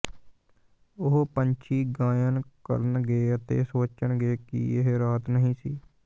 ਉਹ ਪੰਛੀ ਗਾਇਨ ਕਰਨਗੇ ਅਤੇ ਸੋਚਣਗੇ ਕਿ ਇਹ ਰਾਤ ਨਹੀਂ ਸੀ